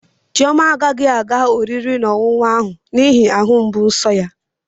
Chioma agaghị aga oriri na ọṅụṅụ ahụ n'ihi ahụ mgbu nso ya.